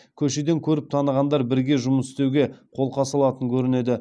көшеден көріп танығандар бірге жұмыс істеуге қолқа салатын көрінеді